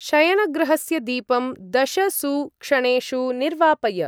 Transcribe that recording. शयनगृहस्य दीपं दशसु क्षणेषु निर्वापय।